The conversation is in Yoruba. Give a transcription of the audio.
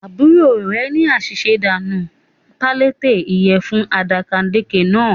Àbúrò rẹ̀ ní àṣìṣe dà nù pallete ìyẹ̀fun àdàkàdekè náà